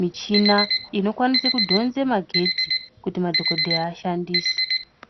michina ino kwanise kudhonze magetsi kuti madhokodheya ashandise.